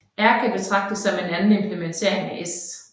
R kan betragtes som en anden implementering af S